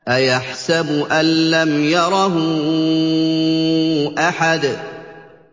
أَيَحْسَبُ أَن لَّمْ يَرَهُ أَحَدٌ